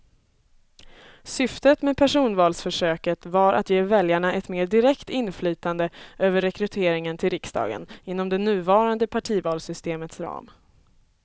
Syftet med personvalsförsöket var att ge väljarna ett mer direkt inflytande över rekryteringen till riksdagen inom det nuvarande partivalssystemets ram.